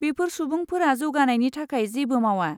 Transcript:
बैफोर सुबुंफोरा जौगानायनि थाखाय जेबो मावा।